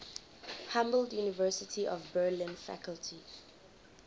humboldt university of berlin faculty